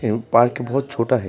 M park बहुत छोटा है।